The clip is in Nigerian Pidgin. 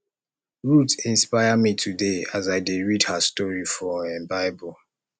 ruth inspire me today as i dey read her story for um bible